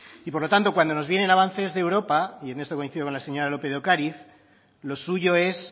y por lo tanto cuando nos vienen avances de europa y en esto coincido con la seña lópez de ocariz lo suyo es